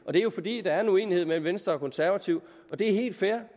og det er jo fordi der er uenighed mellem venstre og konservative og det er helt fair